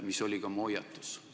See oli ka mu hoiatus.